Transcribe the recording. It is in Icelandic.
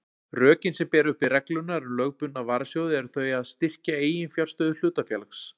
Rökin sem bera uppi reglurnar um lögbundna varasjóði eru þau að styrkja eiginfjárstöðu hlutafélags.